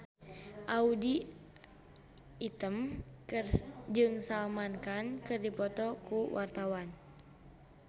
Audy Item jeung Salman Khan keur dipoto ku wartawan